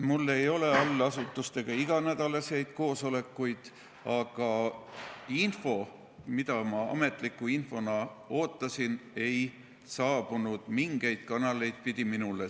Mul ei ole allasutustega iga nädal koosolekuid, aga info, mida ma ametliku infona ootasin, ei saabunud minule mingeid kanaleid pidi.